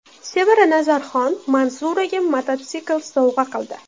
Sevara Nazarxon Manzuraga mototsikl sovg‘a qildi .